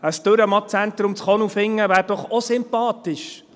Ein Dürrenmatt-Zentrum in Konolfingen wäre doch auch sympathisch.